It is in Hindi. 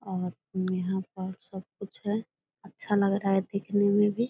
और यहाँ पर सब कुछ है अच्छा लग रहा है दिखने में भी।